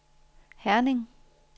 Herning